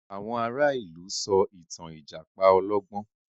Àwọn ará ìlú sọ ìtàn Ìjàpá olọ́gbọ́n